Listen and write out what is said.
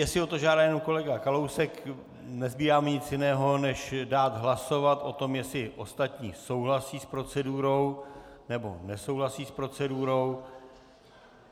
Jestli o to žádá jenom kolega Kalousek, nezbývá mi nic jiného, než dát hlasovat o tom, jestli ostatní souhlasí s procedurou, nebo nesouhlasí s procedurou.